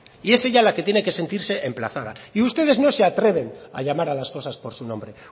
y es ella la que tiene que sentirse emplazada y ustedes no se atreven a llamar a las cosas por su nombre